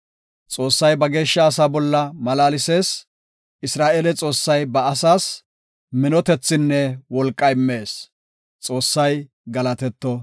Xoossay ba geeshsha asaa bolla malaalsees; Isra7eele Xoossay ba asas minotethinne wolqa immees. Xoossay galatetto.